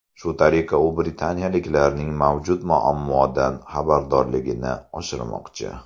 Shu tariqa, u britaniyaliklarning mavjud muammodan xabardorligini oshirmoqchi.